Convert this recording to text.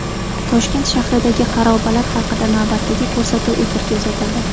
Toshkent shahridagi xarobalar haqida navbatdagi ko‘rsatuv efirga uzatildi.